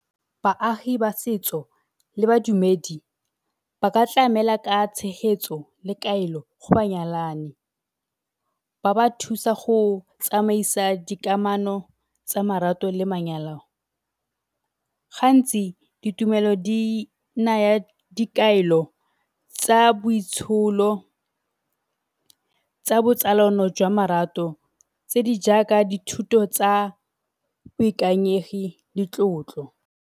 Baagi ba setso le badumedi ba ka tlamela ka tshegetso le kaelo go banyalani. Ba ba thusa go tsamaisa dikamano tsa marato le manyalo. Gantsi ditumelo di naya dikaelo tsa boitsholo tsa botsalano jwa marato tse di jaaka dithuto tsa boikanyegi le tlotlo.